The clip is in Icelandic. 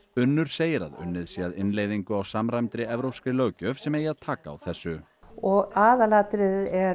Unnur segir að unnið sé að innleiðingu á samræmdri evrópskri löggjöf sem eigi að taka á þessu og aðalatriðið er